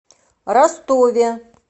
ростове